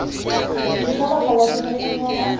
kutung ka baka la dibokonyana